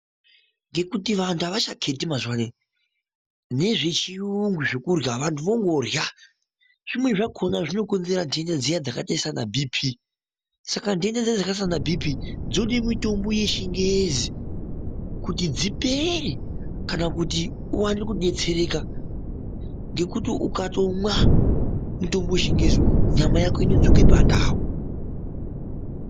Ngekuti vantu awachakheti mazuva anaya nezvechiyungu zvekurya vanhu wongorya. Zvimweni zvakhona zvinokonzera nhenda dziya dzakaita saana BP. Saka nhenda dziyana dzakaita saana BP dzinode mitombo yechingezi kuti dzipere kana kuti uwane kudetsereka. Ngekuti ukatomwa mitombo yechingezi uwu nyama yako inodzoke pandau.